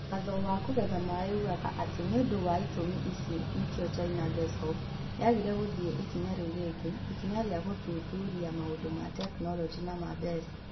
Watho wa kũgetha maaĩ uugaga atĩ nĩ ũndũ wa itũmi ici nĩkĩo China Gezhoub yagire gũthiĩ ikinya rĩu rĩngĩ. Ikinya rĩa gũthuthuria maũndũ ma tekinolonjĩ na ma mbeca.